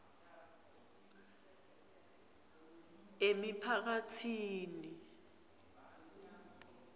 emiphakatsini